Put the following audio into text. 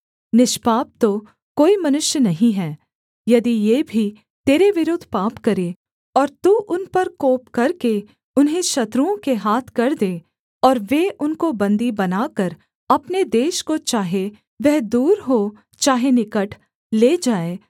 निष्पाप तो कोई मनुष्य नहीं है यदि ये भी तेरे विरुद्ध पाप करें और तू उन पर कोप करके उन्हें शत्रुओं के हाथ कर दे और वे उनको बन्दी बनाकर अपने देश को चाहे वह दूर हो चाहे निकट ले जाएँ